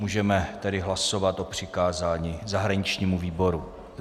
Můžeme tedy hlasovat o přikázání zahraničnímu výboru.